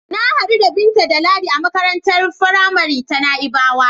Na hadu da Binta da Ladi a makarantar faramari ta Na'ibawa.